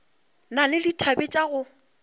na le dithabe tša go